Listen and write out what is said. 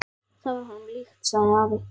Það var honum líkt, sagði afi.